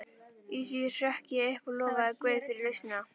Í því hrökk ég upp og lofaði guð fyrir lausnina.